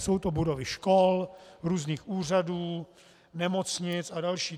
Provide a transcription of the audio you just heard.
Jsou to budovy škol, různých úřadů, nemocnic a další.